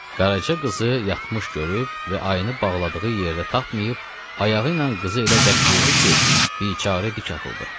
Qaraca qızı yatmış görüb və ayını bağladığı yerdə tapmayıb ayağı ilə qızı elə bərk vurdu ki, biçara dik atıldı.